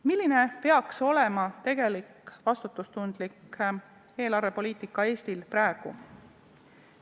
Milline peaks olema tegelik vastutustundlik eelarvepoliitika Eestis praegu?